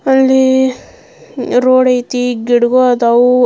ಅಲ್ಲಿ ರೋಡ್ ಐತಿ ಗಿಡಗಳ್ ಅದಾವು.